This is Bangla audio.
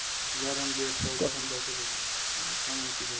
উদাহরণ দিয়ে একটা উদাহরণ দাও তো দেখি কেমন?